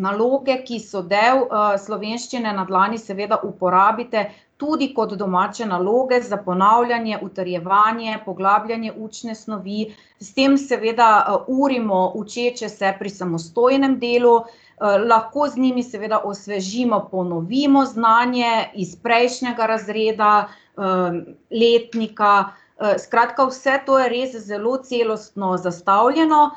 naloge, ki so del, Slovenščine na dlani, seveda uporabite tudi kot domače naloge za ponavljanje, utrjevanje, poglabljanje učne snovi. S tem seveda urimo učeče se pri samostojnem delu, lahko z njimi seveda osvežimo, ponovimo znanje iz prejšnjega razreda, letnika, skratka vse to je res zelo celostno sestavljeno.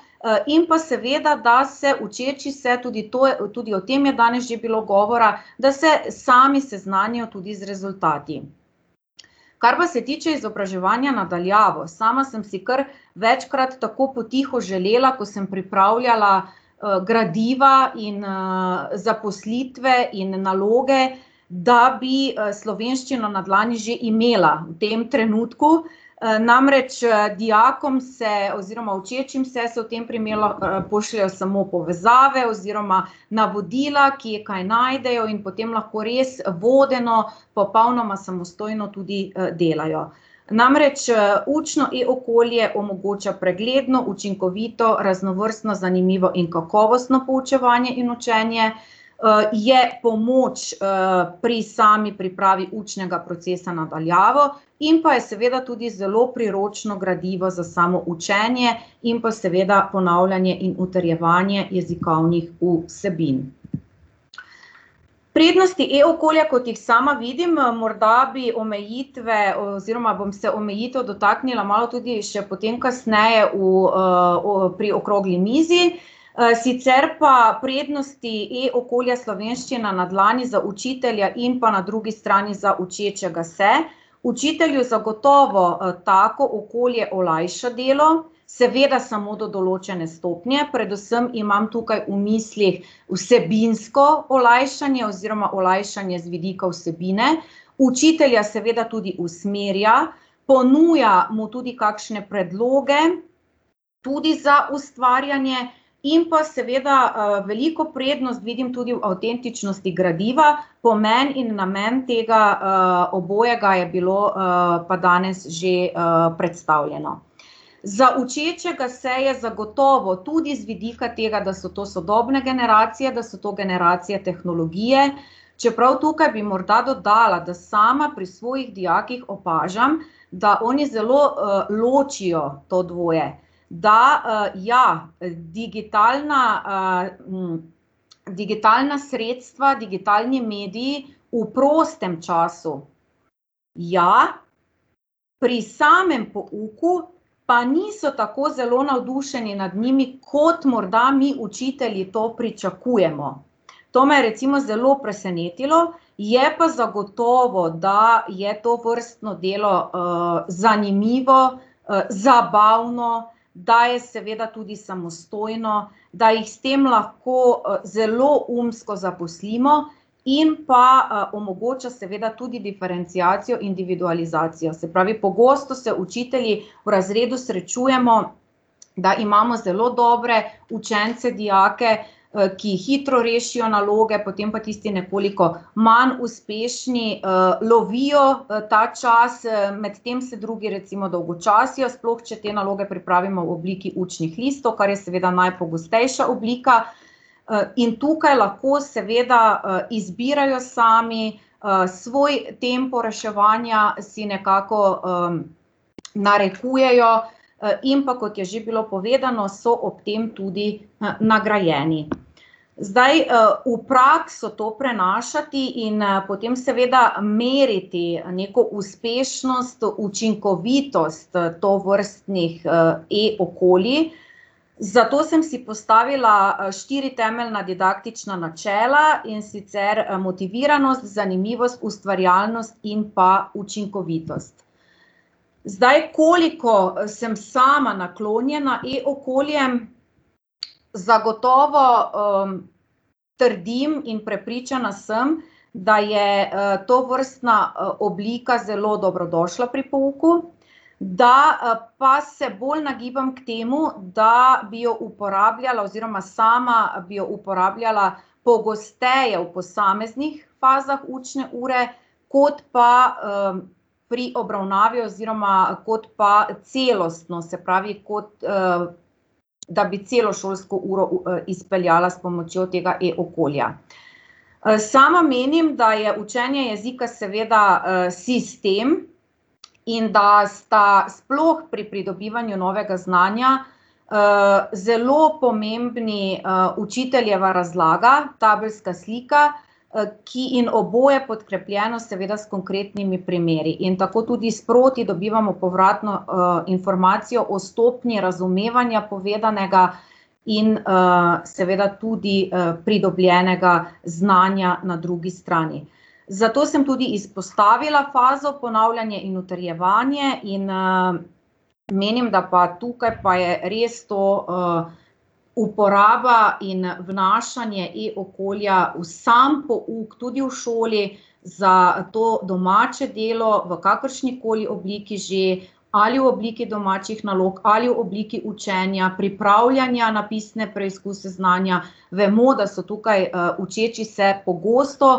in pa seveda, da se učeči se, tudi to je, tudi o tem je danes že bilo govora, da se sami seznanijo tudi z rezultati. Kar pa se tiče izobraževanja na daljavo, sama sem si kar večkrat tako potiho želela, ko sem pripravljala, gradiva in, zaposlitve in naloge, da bi, Slovenščino na dlani že imela v tem trenutku, namreč, dijakom oziroma učečim se se v tem primeru pošljejo samo povezave oziroma navodila, kje kaj najdejo, in potem lahko res vodeno popolnoma samostojno tudi, delajo. Namreč, učno e-okolje omogoča pregledno, učinkovito, raznovrstno, zanimivo in kakovostno poučevanje in učenje, je pomoč, pri sami pripravi učnega procesa na daljavo in pa je seveda tudi zelo priročno gradivo za samo učenje in pa seveda ponavljanje in utrjevanje jezikovnih vsebin. Prednosti e-okolja, kot jih sama vidim, morda bi omejitve oziroma bom se omejitev dotaknila malo tudi še potem kasneje v, pri okrogli mizi, sicer pa prednosti e-okolja Slovenščina na dlani za učitelja in pa na drugi strani za učečega se, učitelju zagotovo, tako okolje olajša delo, seveda samo do določene stopnje, predvsem imam tukaj v mislih vsebinsko olajšanje oziroma olajšanje z vidika vsebine. Učitelja seveda tudi usmerja, ponuja mu tudi kakšne predloge, tudi za ustvarjanje, in pa seveda, veliko prednost vidim tudi v avtentičnosti gradiva, pomeni in namen tega, obojega je bilo, pa danes že, predstavljeno. Za učečega se je zagotovo, tudi z vidika tega, da so to sodobne generacije, da so to generacije tehnologije, čeprav tukaj bi morda dodala, da sama pri svojih dijakih opažam, da oni zelo, ločijo to dvoje. Da, ja, digitalna, digitalna sredstva, digitalni mediji v prostem času ja, pri samem pouku pa niso tako zelo navdušeni nad njimi, kot morda mi učitelji to pričakujemo. To me je recimo zelo presenetilo, je pa zagotovo, da je tovrstno delo, zanimivo, zabavno, da je seveda tudi samostojno, da jih s tem lahko, zelo umsko zaposlimo, in pa, omogoča seveda tudi diferenciacijo, individualizacijo, se pravi, pogosto se učitelji v razredu srečujemo, da imamo zelo dobre učence, dijake, ki hitro rešijo naloge, potem pa tisti nekoliko manj uspešni, lovijo ta čas, medtem se drugi recimo dolgočasijo, sploh če te naloge pripravimo v obliki učnih listov, kar je seveda najpogostejša oblika. in tukaj lahko seveda, izbirajo sami, svoj tempo reševanja si nekako, narekujejo, in pa, kot je že bilo povedano, so ob tem tudi, nagrajeni. Zdaj, v prakso to prenašati in, potem seveda meriti neko uspešnost, učinkovitost, tovrstnih, e-okolij, za to sem si postavila štiri temeljna didaktična načela, in sicer motiviranost, zanimivost, ustvarjalnost in pa učinkovitost. Zdaj koliko sem sama naklonjena e-okoljem, zagotovo, trdim in prepričana sem, da je, tovrstna, oblika zelo dobrodošla pri pouku, da, pa se bolj nagibam k temu, da bi jo uporabljala oziroma sama bi jo uporabljala pogosteje v posameznih fazah učne ure, kot pa, pri obravnavi oziroma kot pa celostno, se pravi, kot, da bi celo šolsko uro izpeljala s pomočjo tega e-okolja. sama menim, da je učenje jezika seveda, sistem in da sta sploh pri pridobivanju novega znanja, zelo pomembni, učiteljeva razlaga, tabelska slika, ki, in oboje podkrepljeno seveda s konkretnimi primeri, in tako tudi sproti dobivamo povratno, informacijo o stopnji razumevanja povedanega in, seveda tudi, pridobljenega znanja na drugi strani. Zato sem tudi izpostavila fazo ponavljanje in utrjevanje in, menim, da pa tukaj pa je res to, uporaba in vnašanje e-okolja v sam pouk, tudi v šoli, za to domače delo v kakršnikoli obliki že, ali v obliki domačih nalog ali v obliki učenja, pripravljanja na pisne preizkuse znanja, vemo, da so tukaj, učeči se pogosto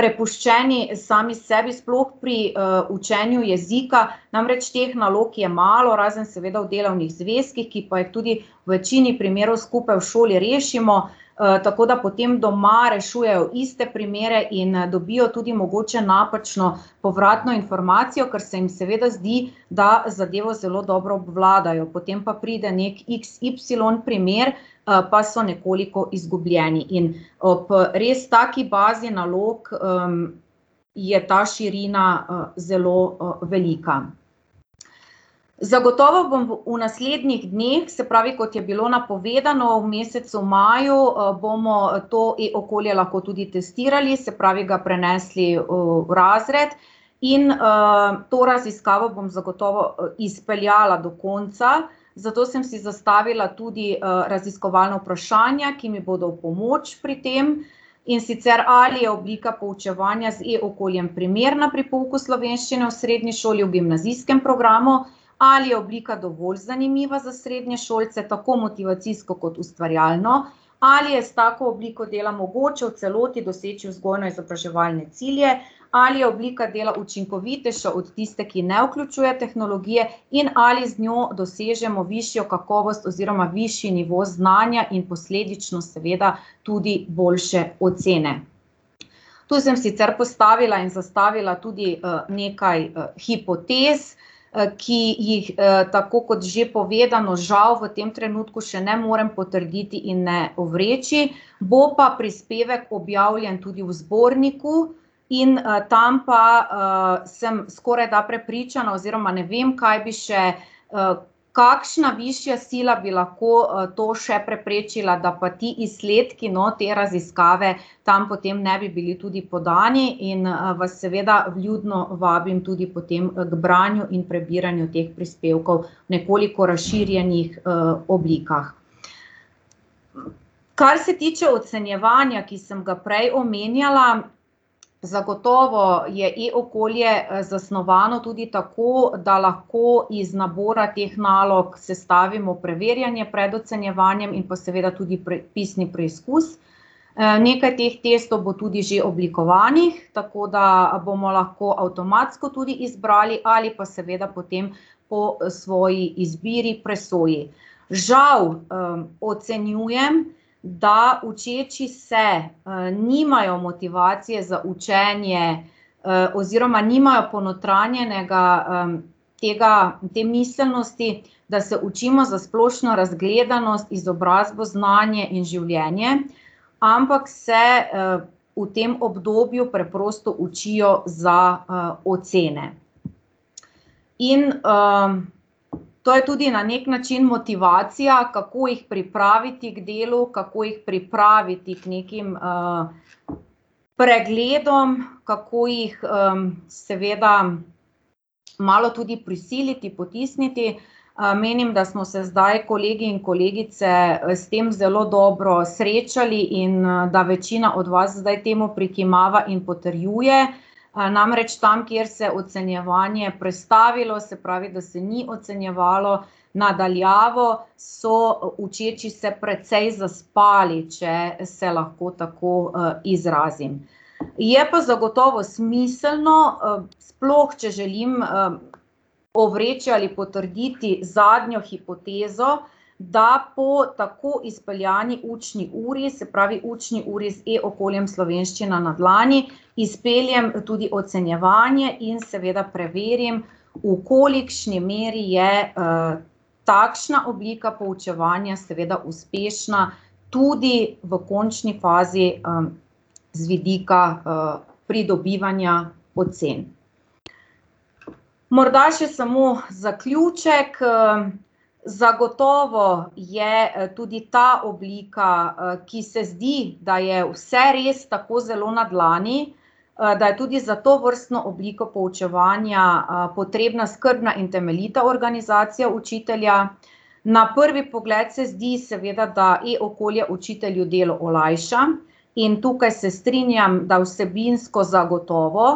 prepuščeni sami sebi, sploh pri, učenju jezika, namreč teh nalog je malo, razen seveda v delovnih zvezkih, ki pa jih tudi v večini primerov skupaj v šoli rešimo. tako da potem doma rešujejo iste primere in dobijo tudi mogoče napačno povratno informacijo, kar se jim seveda zdi, da zadevo zelo dobro obvladajo, potem pa pride neki iks ipsilon primer, pa so nekoliko izgubljeni, in ob, res taki bazi nalog, je ta širina, zelo, velika. Zagotovo vam bo v naslednjih dneh, se pravi, kot je bilo napovedano, v mesecu maju, bomo to e-okolje lahko tudi testirali, se pravi, ga prenesli v razred, in, to raziskavo bom zagotovo izpeljala do konca, zato sem si zastavila tudi, raziskovalna vprašanja, ki mi bodo v pomoč pri tem, in sicer, ali je oblika poučevanja z e-okoljem primerna pri pouku slovenščine v srednji šoli, v gimnazijskem programu, ali je oblika dovolj zanimiva za srednješolce, tako motivacijsko kot ustvarjalno, ali je s tako obliko delo mogoče v celoti doseči vzgojno-izobraževalne cilje, ali je oblika dela učinkovitejša od tiste, ki ne vključuje tehnologije, in ali z njo dosežemo višjo kakovost oziroma višji nivo znanja in posledično seveda tudi boljše ocene. Tu sem sicer postavila in zastavila tudi, nekaj, hipotez, ki jih, tako kot že povedano, žal v tem trenutku še ne morem potrditi in ne ovreči, bo pa prispevek objavljen tudi v zborniku in, tam pa, sem skorajda prepričana oziroma ne vem, kaj bi še, kakšna višja sila bi lahko, to še preprečila, da pa ti izsledki, no, te raziskave tam potem ne bi bili tudi podnevi in, vas seveda vljudno vabim potem ko branju in prebiranju teh prispevkov v nekoliko razširjenih, oblikah. Kar se tiče ocenjevanja, ki sem ga prej omenjala, zagotovo je e-okolje zasnovano tudi tako, da lahko iz nabora teh nalog sestavimo preverjanje pred ocenjevanjem in pa seveda tudi pisni preizkus, nekaj teh testov bo tudi že oblikovanih, tako da bomo lahko avtomatsko tudi izbrali ali pa seveda potem po svoji izbiri, presoji. Žal, ocenjujem, da učeči se, nimajo motivacije za učenje, oziroma nimajo ponotranjenega, tega, te miselnosti, da se učimo za splošno razgledanost, izobrazbo, znanje in življenje, ampak se, v tem obdobju preprosto učijo za, ocene. In, to je tudi na neki način motivacija, kako jih pripraviti k delu, kako jih pripraviti k nekim, pregledom, kako jih, seveda malo tudi prisiliti, potisniti, menim, da smo se zdaj kolegi in kolegice s tem zelo dobro srečali in, da večina od vas zdaj temu prikimava in potrjuje, namreč tam, kjer se je ocenjevanje prestavilo, se pravi, da se ni ocenjevalo na daljavo, so učeči se precej zaspali, če se lahko tako, izrazim. Je pa zagotovo smiselno, sploh če želim, ovreči ali potrditi zadnjo hipotezo, da po tako izpeljani učni uri, se pravi učni uri z e-okoljem Slovenščina na dlani, izpeljem seveda tudi ocenjevanje in preverim, v kolikšni meri je, takšna oblika poučevanja seveda uspešna tudi v končni fazi, z vidika, pridobivanja ocen. Morda še samo zaključek, zagotovo je tudi ta oblika, ki se zdi, da je vse res tako zelo na dlani, da je tudi za tovrstno obliko poučevanja, potrebna skrbna in temeljita organizacija učitelja. Na prvi pogled se zdi seveda, da e-okolje učitelju delo olajša, in tukaj se strinjam, da vsebinsko zagotovo,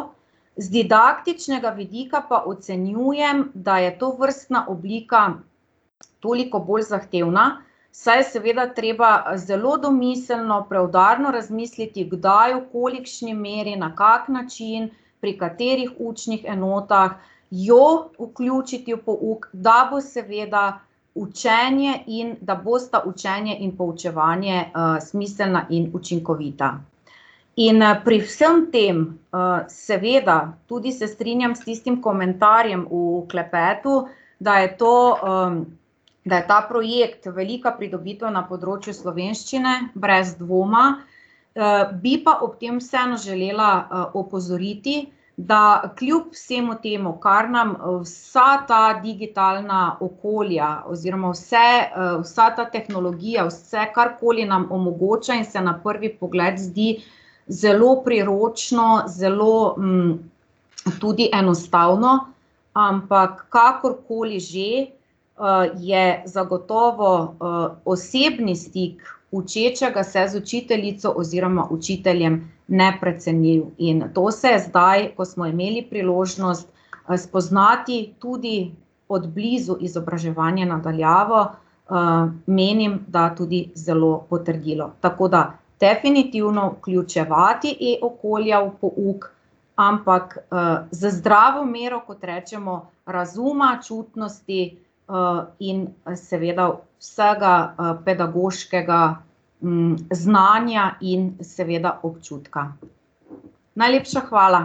z didaktičnega vidika pa ocenjujem, da je tovrstna oblika toliko bolj zahtevna, saj je seveda treba zelo domiselno, preudarno razmisliti, kdaj, v kolikšni meri, na kak način, pri katerih učnih enotah jo vključiti v pouk, da bo seveda učenje in, da bosta učenje in poučevanje, smiselna in učinkovita. In, pri vsem tem, seveda, tudi se strinjam s tistim komentarjem v klepetu, da je to, da je ta projekt velika pridobitev na področju slovenščine, brez dvoma, bi pa ob tem vseeno želela, opozoriti, da kljub vsemu temu, kar nam vsa ta digitalna okolja oziroma vse, vsa ta tehnologija, vse, karkoli nam omogoča in se na prvi pogled zdi zelo priročno, zelo, tudi enostavno, ampak kakorkoli že, je zagotovo, osebni stik učečega se z učiteljico oziroma učiteljem neprecenljiv. In to se zdaj, ko smo imeli priložnost, spoznati tudi od blizu izobraževanje na daljavo, menim, da tudi zelo potrdilo, tako da definitivno vključevati e-okolja v pouk, ampak, z zdravo mero, kot rečemo, razuma, čutnosti, in seveda vsega, pedagoškega, znanja in seveda občutka. Najlepša hvala.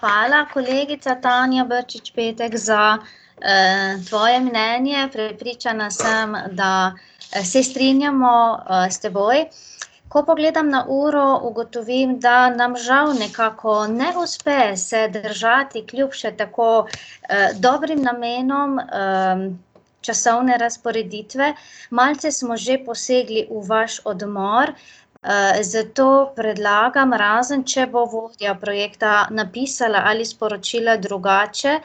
Hvala, kolegica Tanja Brčič Petek, za, tvoje mnenje, prepričana sem, da se strinjamo, s teboj. Ko pogledam na uro, ugotovim, da nam žal nekako ne uspe se držati kljub še tako, dobrim namenom, časovne razporeditve. Malce smo že posegli v vaš odmor, zato predlagam, razen če bo vodja projekta napisala ali sporočila drugače,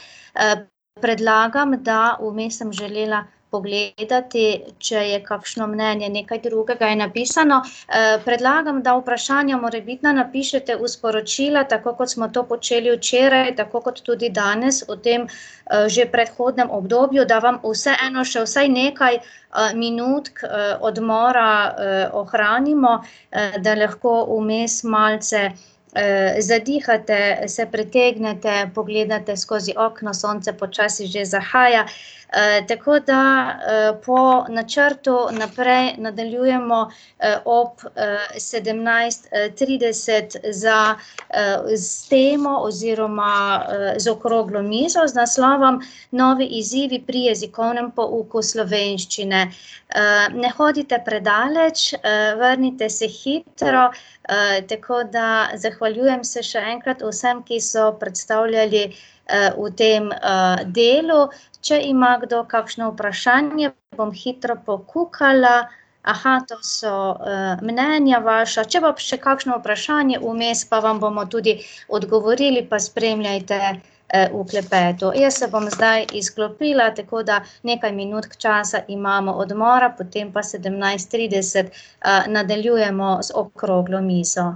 predlagam, da, vmes sem želela pogledati, če je kakšno mnenje, nekaj drugega je napisano, predlagam, da vprašanja morebitna napišete v sporočila, tako kot smo to počeli včeraj, tako kot tudi danes v tem, že predhodnem obdobju, da vam vseeno še vsaj nekaj, minutk, odmora, ohranimo, da lahko vmes malce, zadihate, se pretegnete, pogledate skozi okna, sonce počasi že zahaja, tako da, po načrtu, naprej nadaljujemo, ob, sedemnajst : trideset za, s temo oziroma, z okroglo mizo z naslovom Novi izzivi pri jezikovnem pouku slovenščine. ne hodite predaleč, vrnite se hitro, tako da zahvaljujem se še enkrat vsem, ki so predstavljali, v tem, delu, če ima kdo kakšno vprašanje, bom hitro pokukala. to so, mnenja vaša, če bo še kakšno vprašanje vmes, pa vam bomo tudi odgovorili, pa spremljajte, v klepetu. Jaz se bom zdaj izklopila, tako da nekaj minutk časa imamo odmora, potem pa sedemnajst : trideset, nadaljujemo z okroglo mizo.